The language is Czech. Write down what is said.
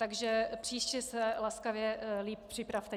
Takže příště se laskavě líp připravte.